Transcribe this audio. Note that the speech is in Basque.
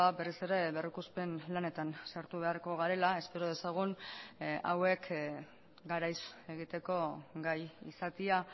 berriz ere berrikuspen lanetan sartu beharko garela espero dezagun hauek garaiz egiteko gai izatea